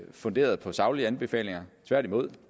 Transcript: funderet på saglige anbefalinger tværtimod